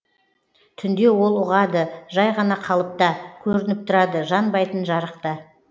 түнде ол ұғады жай ғана қалыпта көрініп тұрады жанбайтын жарықта